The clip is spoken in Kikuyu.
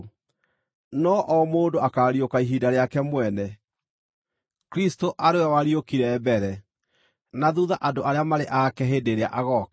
No o mũndũ akaariũka ihinda rĩake mwene: Kristũ arĩ we wariũkire mbere; na thuutha andũ arĩa marĩ ake hĩndĩ ĩrĩa agooka.